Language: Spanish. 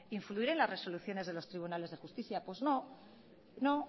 influir en las resoluciones de los tribunales de justicia pues no no